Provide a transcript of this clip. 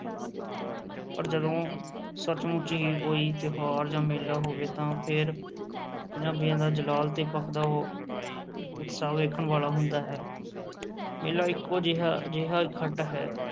ਪਰ ਜਦੋਂ ਸੱਚ-ਮੁੱਚ ਹੀ ਕੋਈ ਤਿਉਹਾਰ ਜਾਂ ਮੇਲਾ ਹੋਵੇ ਤਾਂ ਫਿਰ ਪੰਜਾਬੀਆਂ ਦਾ ਜਲਾਲ ਤੇ ਭਖਦਾ ਉਤਸ਼ਾਹ ਵੇਖਣ ਵਾਲਾ ਹੁੰਦਾ ਹੈ, ਮੇਲਾ ਇੱਕੋ ਜਿਹਾ ਅਜਿਹਾ ਇਕੱਠ ਹੈ,